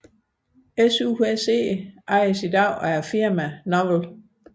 SUSE ejes i dag af firmaet Novell